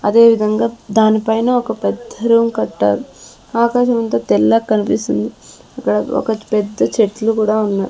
అదేవిధంగా దానిపైన ఒక పెద్ద రూమ్ కట్టారు ఆకాశమంత తెల్లగ్ కనిపిస్తుంది ఇక్కడ ఒక పెద్ద చెట్లు కూడా ఉన్నాయ్.